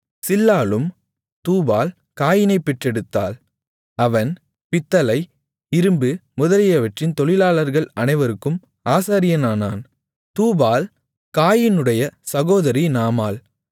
சில்லாளும் தூபால் காயீனைப் பெற்றெடுத்தாள் அவன் பித்தளை இரும்பு முதலியவற்றின் தொழிலாளர்கள் அனைவருக்கும் ஆசாரியனானான் தூபால் காயீனுடைய சகோதரி நாமாள்